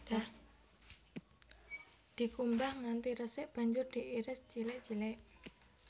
Dikumbah nganti resik banjur diiris cilik cilik